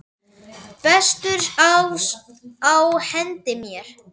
Bestur ás á hendi mér.